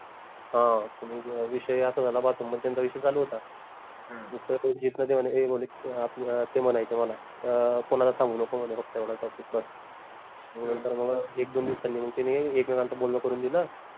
हां त मंग विषय असा झाला बा त्यांचा विषय चालू होता मग जीत न ते म्हने ए ते म्हनायचे मला अं कोनाला सांगू नको म्हने फक्त एवढा topic बस नंतर मग एक दोन दिवसांनी मंग तिनी एकमेकांचं बोलन करून दिल